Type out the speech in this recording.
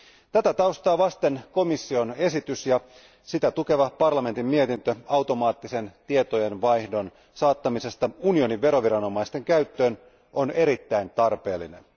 Tätä taustaa vasten komission esitys ja sitä tukeva parlamentin mietintö automaattisen tietojenvaihdon saattamisesta unionin veroviranomaisten käyttöön on erittäin tarpeellinen.